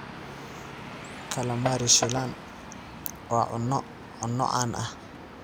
Calamari shiilan waa cunno-cunno caan ah.